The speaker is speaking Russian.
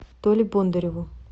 толе бондареву